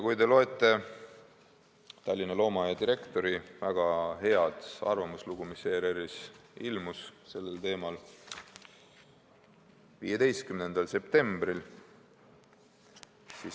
Lugege Tallinna loomaaia direktori väga head arvamuslugu, mis ERR-i saidil ilmus sellel teemal 15. septembril.